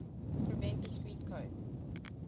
prevent discrete code